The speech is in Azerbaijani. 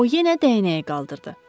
O yenə dəyənəyi qaldırdı.